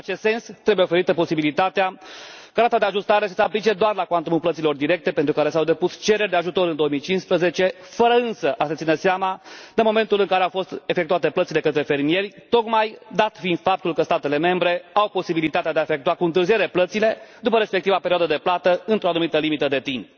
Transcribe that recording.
În acest sens, trebuie oferită posibilitatea ca rata de ajustare să se aplice doar la cuantumul plăților directe, pentru care s au depus cereri de ajutor în 2015, fără însă a se ține seama de momentul în care au fost efectuate plățile către fermieri, tocmai dat fiind faptul că statele membre au posibilitatea de a efectua cu întârziere plățile, după respectiva perioadă de plată, într o anumită limită de timp.